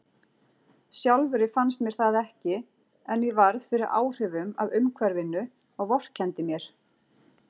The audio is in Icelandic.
Sjálfri fannst mér það ekki, en ég varð fyrir áhrifum af umhverfinu og vorkenndi mér.